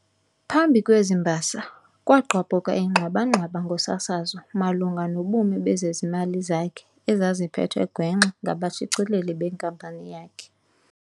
phambi kwezi mbasa, kwagqabhuka ingxwabangxwaba ngosasazo malunga nobume bezezimali zakhe ezaziphethwe gwenxa ngabashicileli benkampani yakhe.